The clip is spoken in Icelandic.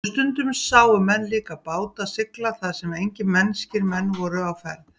Og stundum sáu menn líka báta sigla þar sem engir mennskir menn voru á ferð.